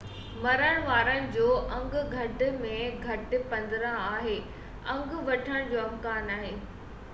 مرڻ وارن جو انگ گهٽ ۾ گهٽ 15 آهي انگ وڌڻ جو امڪان آهي